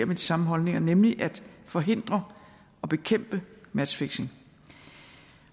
med de samme holdninger nemlig at forhindre og bekæmpe matchfixing